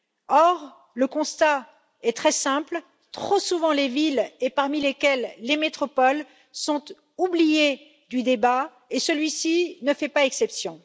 Or, le constat est très simple trop souvent, les villes, et parmi celles ci, les métropoles, sont oubliées du débat et celui ci ne fait pas exception.